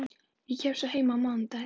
Ég kem svo heim á mánudaginn.